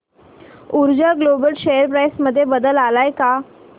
ऊर्जा global share price मध्ये बदल आलाय का